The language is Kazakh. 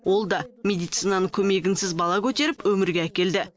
ол да медицинаның көмегінсіз бала көтеріп өмірге әкелді